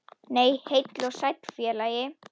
Nei, heill og sæll félagi!